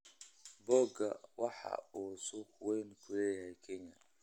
Boga waxa uu suuq weyn ku leeyahay Kenya.